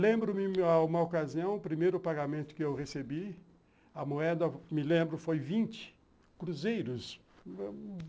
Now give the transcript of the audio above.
Lembro-me, a uma ocasião, o primeiro pagamento que eu recebi, a moeda, me lembro, foi vinte cruzeiros.